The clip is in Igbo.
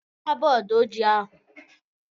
Hichaa bọọdụ ojii ahu!